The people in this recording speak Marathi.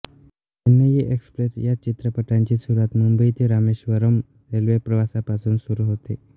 चेन्नई एक्सप्रेस या चित्रपटांची सुरुवात मुंबई ते रामेश्वरम रेल्वे प्रवासापासून सुरू होते